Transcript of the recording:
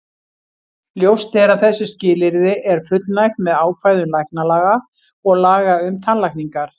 Ljóst er að þessu skilyrði er fullnægt með ákvæðum læknalaga og laga um tannlækningar.